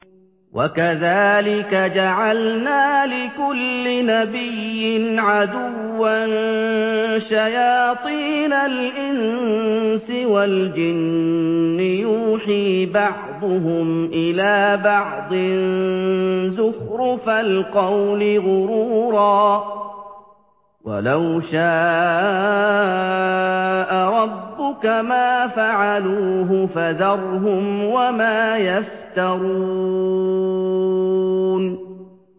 وَكَذَٰلِكَ جَعَلْنَا لِكُلِّ نَبِيٍّ عَدُوًّا شَيَاطِينَ الْإِنسِ وَالْجِنِّ يُوحِي بَعْضُهُمْ إِلَىٰ بَعْضٍ زُخْرُفَ الْقَوْلِ غُرُورًا ۚ وَلَوْ شَاءَ رَبُّكَ مَا فَعَلُوهُ ۖ فَذَرْهُمْ وَمَا يَفْتَرُونَ